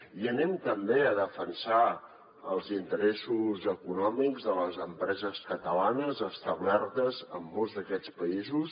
i també defensarem els interessos econòmics de les empreses catalanes establertes en molts d’aquests països